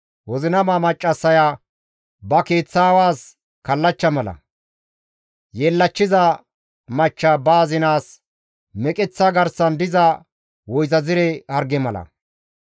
Wozinama maccassaya ba keeththaawas kallachcha mala; yeellachchiza machcha ba azinaas meqeththa garsan diza woyzazire harge mala.